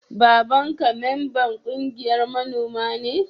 Baban ka memban ƙungiyan manomi ne?